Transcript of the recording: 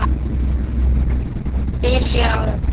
Fyrir sjö árum.